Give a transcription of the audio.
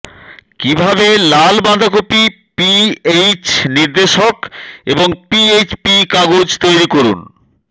কিভাবে লাল বাঁধাকপি পিএইচ নির্দেশক এবং পিএইচপি কাগজ তৈরি করুন